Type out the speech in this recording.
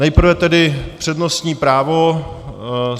Nejprve tedy přednostní právo.